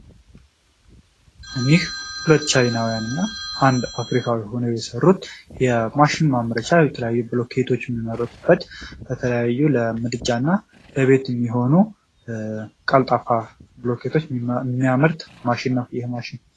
እኒህ ሁለት ቻይናውያን እና አንድ አፍሪካዊ ሁነው የሰሩት የማሽን ማምረቻ የተለያዩ ብሉኬቶችን የምናመርትበት የተለያዩ ለምድጃ እና ለቤት የሚሆኑ ቀልጣፋ ብሎኬቶች የሚያመርት ነው ይህ ማሽን።